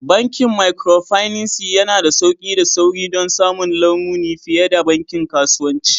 Bankin Micropinaci yana da sauƙi da sauri don samun lamuni fiye da bankin kasuwanci